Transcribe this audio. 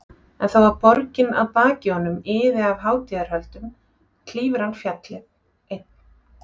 En þó að borgin að baki honum iði af hátíðarhöldum klífur hann fjallið, einn.